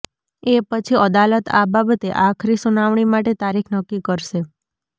એ પછી અદાલત આ બાબતે આખરી સુનાવણી માટે તારીખ નક્કી કરશે